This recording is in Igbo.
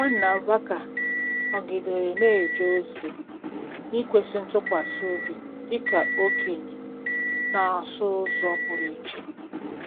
Nwanna Vaca nọgidere na-eje ozi n’ikwesị ntụkwasị obi dị ka okenye na ọsụ ụzọ pụrụ iche.